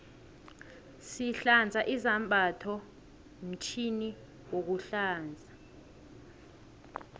sihlanza izambatho mtjhini wokulanza